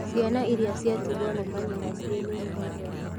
Ciana iria ciatigwo nĩ manyina ciĩ nini mũno